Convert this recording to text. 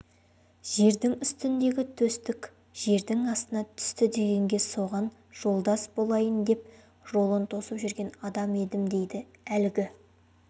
жердің үстіндегі төстік жердің астына түсті дегенге соған жолдас болайын деп жолын тосып жүрген адам едім дейді әлгі